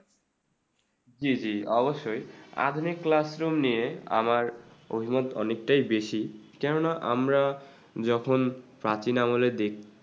জি জি অবশ্যই আধুনিক classroom নিয়ে আমার অভিমত অনেকটাই বেশি কেননা আমরা যখন প্রাচীন আমলের দেশ